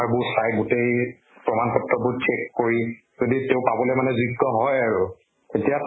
বোৰ চাই গোটেই প্ৰমাণ পত্ৰবোৰ check কৰি, যদি তেওঁ পাবলৈ মানে যোগ্য় হয় আৰু তেতিয়া